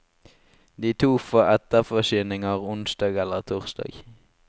De to får etterforsyninger onsdag eller torsdag.